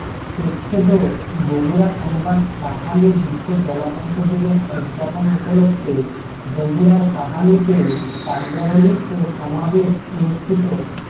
প্রচ্ছদ বগুড়া সংবাদ কাহালু বিশ্ব জলাতঙ্ক দিবস উদযাপন উপলক্ষ্যে বগুড়ার কাহালুতে র্যালী ও সমাবেশ অনুষ্ঠিত